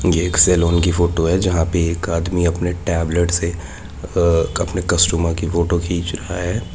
एक सैलून की फोटो है जहां जहां पर एक आदमी अपने टैबलेट से अपने कस्टमर की फोटो खींच रहा है।